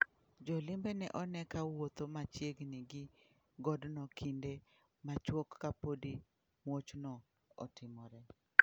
Jo limbe ne one ka wuotho machiegini gi godno kinde machuok ka podi muochno otimore.